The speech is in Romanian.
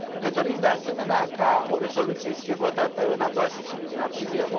Ne dorim, de asemenea, ca o rezoluție să fie votată în a doua sesiune din aprilie.